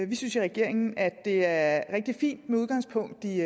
vi synes i regeringen at det er rigtig fint med udgangspunkt i